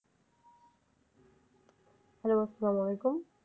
Hello আসসালাম ওয়ালায়কুম